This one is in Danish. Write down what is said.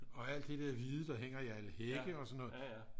og alt det der hvide der hænger i alle hække og sådan noget